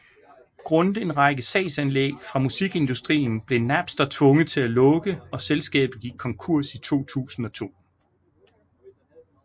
Grundet en række sagsanlæg fra musikindustrien blev Napster tvunget til at lukke og selskabet gik konkurs i 2002